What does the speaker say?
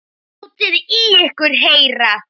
Látið í ykkur heyra!